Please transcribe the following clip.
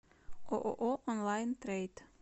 ооо онлайн трейд